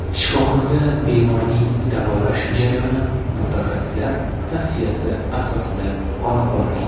Shifoxonada bemorning davolash jarayoni mutaxassislar tavsiyasi asosida olib borilgan.